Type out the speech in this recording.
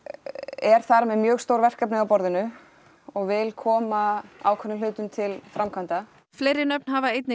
er þar með mjög stór verkefni á borðinu og vil koma ákveðnum hlutum til framkvæmda fleiri nöfn hafa einnig